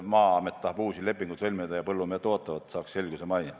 Maa-amet tahab uusi lepinguid sõlmida ja põllumehed ootavad, et saaks selguse majja.